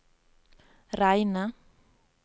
reine